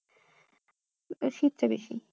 শীতটা বেশি